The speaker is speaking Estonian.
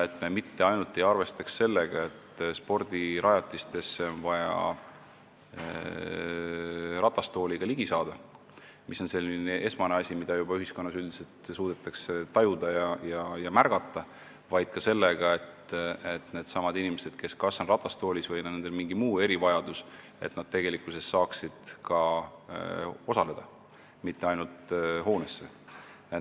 Me ei peaks mitte ainult sellega arvestama, et spordirajatistele on vaja ratastooliga ligi saada, mis on esmane asi ning mida ühiskonnas üldiselt juba suudetakse tajuda ja märgata, vaid ka sellega, et needsamad inimesed, kes on ratastoolis või kellel on mingi muu erivajadus, saaksid ka tegelikkuses osaleda, mitte ei pääseks ainult hoonesse.